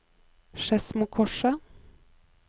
Skedsmokorset